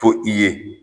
To i ye